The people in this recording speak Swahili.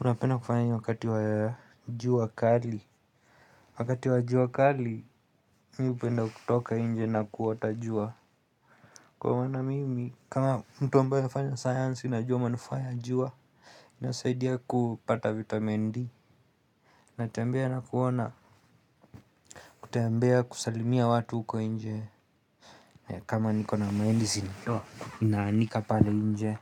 Unapenda kufanya nini wakati wajua kali. Wakati wajua kali, mi hupenda kutoka nje na kuota jua. Kwa wana mimi, kama mtu ambaye nafanya science, najua manufaa ya jua. Inasaidia kupata vitamin D. Natembea na kuona, kutambea kusalimia watu uko inje. Kama niko na maendisi, naanika pale nje.